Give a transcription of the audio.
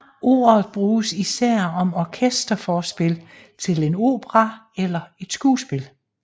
Ordet bruges især om orkesterforspil til en opera eller et skuespil